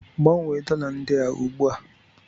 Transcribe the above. Gbanwee dollar ndị a ugbu a!